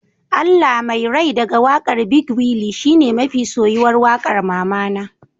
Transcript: Allah Mai rai daga wakar big willy shine mafi soyuwar waƙar mamana